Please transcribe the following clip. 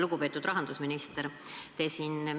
Lugupeetud rahandusminister!